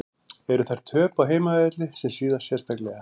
Eru þar töp á heimavelli sem svíða sérstaklega.